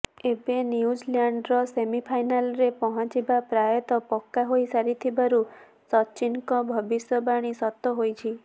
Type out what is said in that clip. ଏବେ ନ୍ୟୁଜିଲ୍ୟାଣ୍ଡର ସେମିଫାଇନାଲରେ ପହଞ୍ଚିବା ପ୍ରାୟତଃ ପକ୍କା ହୋଇସାରିଥିବାରୁ ସଚିନଙ୍କ ଭବିଷ୍ୟବାଣୀ ସତ ହୋଇଛି